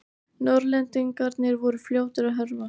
Norðlendingarnir voru fljótir að hörfa.